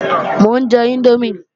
Mò ń jẹ índómì